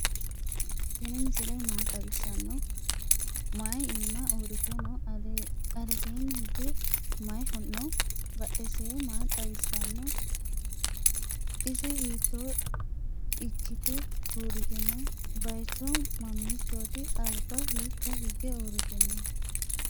tinni misile maa xawisano? maayi ima urite noo? aleesenni hige mayi noo? badhidise maa xawisano? ise hitto iikkite uritino? bayichu mamichoti? alba hikka hiige urittino